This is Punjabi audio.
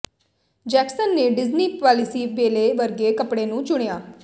ਜੈਕਸਨ ਨੇ ਡਿਜ਼ਨੀ ਪਾਲਿਸੀ ਬੇਲੇ ਵਰਗੇ ਕੱਪੜੇ ਨੂੰ ਚੁਣਿਆ